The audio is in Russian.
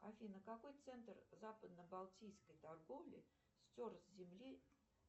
афина какой центр западно балтийской торговли стер с земли